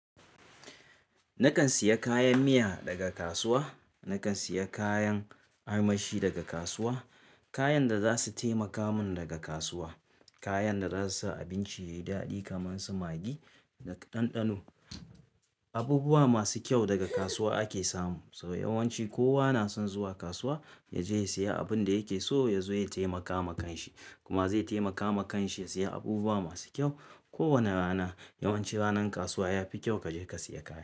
Nakan siya kayan miya daga kasuwa, nakan siya kayan armashi daga kasuwa, kayan da zasu taimaka mun daga kasuwa, kayan da zasu sa abinci yayi daɗi kaman su magi na ɗanɗano. Abubuwa masu kyau daga kasuwa ake samu saboda yawanci kowa na son zuwa kasuwa ya je ya siya abin da yake so ya zo ya taimaka ma kan shi kuma zai taimaka ma kan shi ya siya abubuwa masu kyau. Ko wane rana yawanci ranar kasuwa yafi kyau kaje ka siya kaya.